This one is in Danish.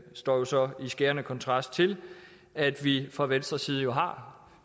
står jo så i skærende kontrast til at vi fra venstres side har